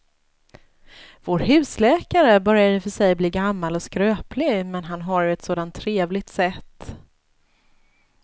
Vår husläkare börjar i och för sig bli gammal och skröplig, men han har ju ett sådant trevligt sätt!